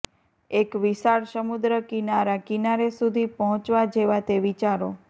એક વિશાળ સમુદ્ર કિનારા કિનારે સુધી પહોંચવા જેવા તે વિચારો